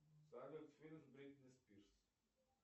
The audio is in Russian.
салют фильм с бритни спирс